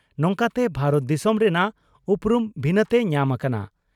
ᱱᱚᱝᱠᱟᱛᱮ ᱵᱷᱟᱨᱚᱛ ᱫᱤᱥᱚᱢ ᱨᱮᱱᱟᱜ ᱩᱯᱨᱩᱢ ᱵᱷᱤᱱᱟᱹᱛᱮ ᱧᱟᱢ ᱟᱠᱟᱱᱟ ᱾